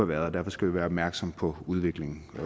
været og derfor skal vi være opmærksomme på udviklingen